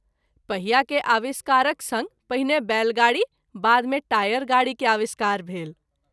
पहिया के आविष्कारक संग पहिने बैलगाड़ी बाद मे टायर गाड़ी के आविष्कार भेल।